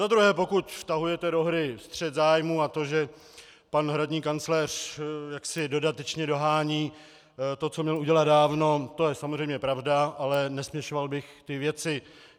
Za druhé, pokud vtahujete do hry střet zájmů a to, že pan hradní kancléř jaksi dodatečně dohání to, co měl udělat dávno, to je samozřejmě pravda, ale nesměšoval bych ty věci.